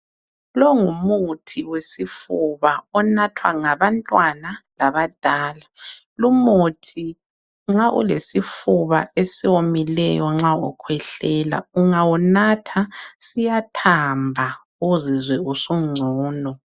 Lo ngumuthi wesifuba onathwa ngabantwana labadala. Lumuthi nxa ulesifuba esiwomileyo nxa ukhwehlela ungawunatha siyathamba uzizwe usungcono.